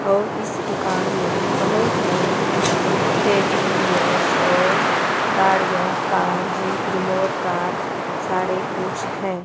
और इस दुकान में बहुत बड़े बड़े टेडी बियर्स और गाड़ियां कार जीप रिमोट कार सारे कुछ है।